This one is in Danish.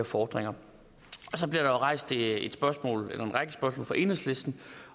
fordringer så bliver der rejst en række spørgsmål fra enhedslisten